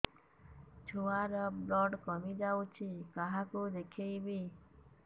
ଛୁଆ ର ବ୍ଲଡ଼ କମି ଯାଉଛି କାହାକୁ ଦେଖେଇବି